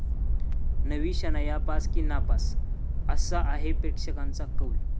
नवी शनाया पास की नापास? 'असा' आहे प्रेक्षकांचा कौल